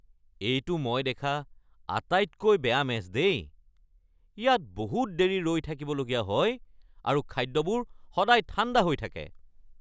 এইটো মই দেখা আটাইতকৈ বেয়া মেছ দেই। ইয়াত বহুত দেৰি ৰৈ থাকিবলগীয়া হয় আৰু খাদ্যবোৰ সদায় ঠাণ্ডা হৈ থাকে।